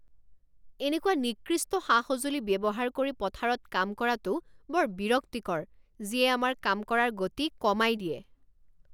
এনেকুৱা নিকৃষ্ট সা সঁজুলি ব্যৱহাৰ কৰি পথাৰত কাম কৰাটো বৰ বিৰক্তিকৰ যিয়ে আমাৰ কাম কৰাৰ গতি কমাই দিয়ে।